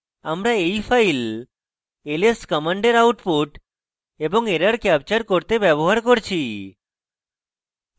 আমরা we file ls command output এবং error capture করতে ব্যবহার করছি